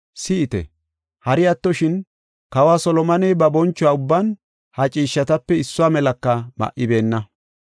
Si7ite! Hari attoshin, kawa Solomoney ba boncho ubban ha ciishshatape issuwa melaka ma7ibeenna.